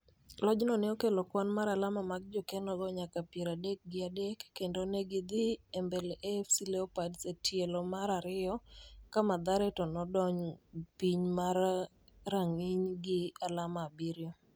Lojno ne okelo kwan mar alama mag jokenogo nyaka piero adek gi adek kendo ne githi e mbele AFC Leopards e tielo mar ariyo ka Mathare to nodong piny mar ranginy' gi alama abiriyo.